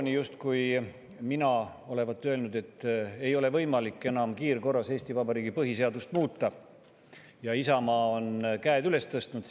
justkui mina olevat öelnud, et enam ei ole võimalik kiirkorras Eesti Vabariigi põhiseadust muuta ja Isamaa on käed üles tõstnud.